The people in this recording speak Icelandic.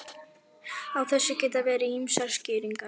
Á þessu geta verið ýmsar skýringar.